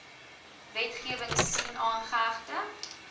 wetgewing sien aangehegte